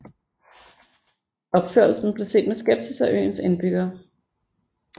Opførelsen blev set med skepsis af øens indbyggere